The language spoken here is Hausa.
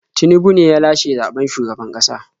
Tinubu ne ya lashe zaɓen shugaban ƙasa.